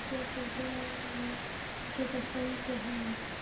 Þið getið fengið hann